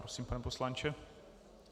Prosím, pane poslanče.